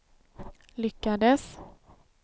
lyckades